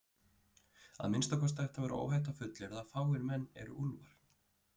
Að minnsta kosti ætti að vera óhætt að fullyrða að fáir menn eru úlfar.